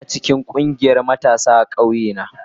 Ina cikin ƙungiyar matasa a ƙauye na.